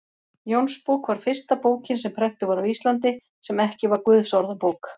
Jónsbók var fyrsta bókin sem prentuð var á Íslandi, sem ekki var Guðsorðabók.